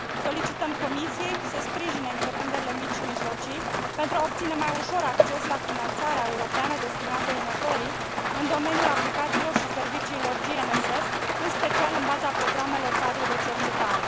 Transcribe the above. Solicităm Comisiei să sprijine întreprinderile mici și mijlocii pentru a obține mai ușor acces la finanțarea europeană destinată inovării în domeniul aplicațiilor și serviciilor GNSS, în special în baza programelor cadru de cercetare.